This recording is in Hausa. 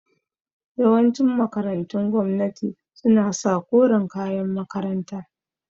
Yawancin makarantun gwamnati su na sa koren kayan makaranta